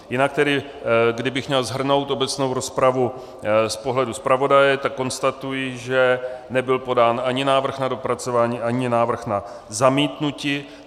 Jinak tedy kdybych měl shrnout obecnou rozpravu z pohledu zpravodaje, tak konstatuji, že nebyl podán ani návrh na dopracování, ani návrh na zamítnutí.